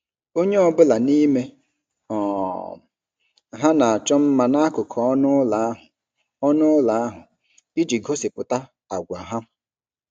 Onye ọ bụla n'ime um ha na-achọ mma n'akụkụ ọnụ ụlọ ahụ ọnụ ụlọ ahụ iji gosipụta àgwà ha.